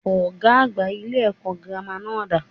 Ògá àgbà ilé èkó girama náà dà?